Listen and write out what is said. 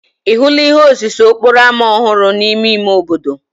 Ị hụla ihe osise okporo ámá ọhụrụ n'ime ime obodo?